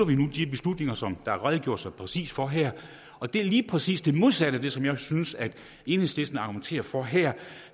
vi nu de beslutninger som der er redegjort så præcist for her og det er lige præcis det modsatte af det som jeg synes enhedslisten argumenterer for her